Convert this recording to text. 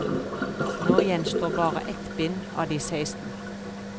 Nå gjenstår bare ett bind av de seksten.